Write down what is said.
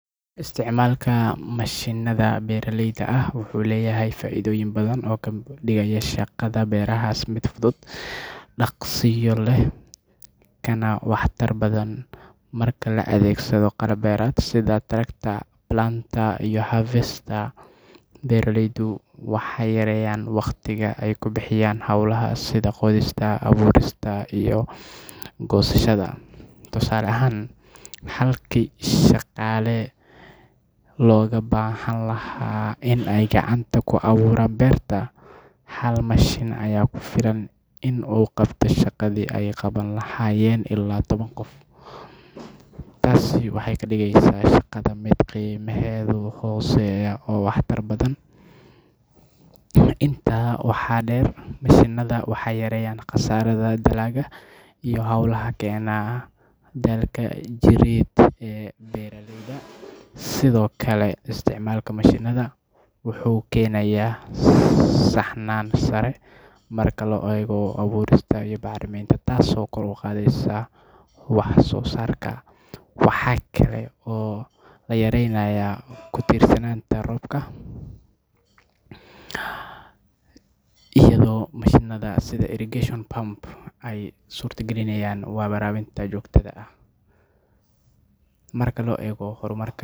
Isticmaalka mashiinnada beeralayda ah wuxuu leeyahay faa’iidooyin badan oo ka dhigaya shaqada beeraha mid fudud, dhaqsiyo leh, kana waxtar badan. Marka la adeegsado qalab beereed sida tractor, planter, iyo harvester, beeraleydu waxay yareeyaan waqtiga ay ku bixinayaan hawlaha sida qodista, abuurista iyo goosashada. Tusaale ahaan, halkii shaqaale badan looga baahnaan lahaa in ay gacanta ku abuuraan beerta, hal mashiin ayaa ku filan in uu qabto shaqadii ay qaban lahaayeen ilaa toban qof. Taasi waxay ka dhigaysaa shaqada mid qiimaheedu hooseeyo oo waxtar badan leh. Intaa waxaa dheer, mashiinnada waxay yareeyaan khasaaraha dalagga iyo hawlaha keena daalka jireed ee beeraleyda. Sidoo kale, isticmaalka mashiinnada wuxuu keenayaa saxnaan sare marka la eego abuurista iyo bacriminta taasoo kor u qaadaysa wax-soosaarka. Waxaa kale oo la yareeyaa ku-tiirsanaanta roobabka iyadoo mashiinnada sida irrigation pump ay suurtagelinayaan waraabinta joogtada ah. Marka la eego horumarka.